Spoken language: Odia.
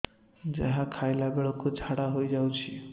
ଯାହା ଖାଇଲା ବେଳକୁ ଝାଡ଼ା ହୋଇ ଯାଉଛି